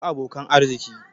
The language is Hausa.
Ku bi abokan arziki!